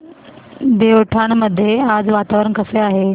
देवठाण मध्ये आज वातावरण कसे आहे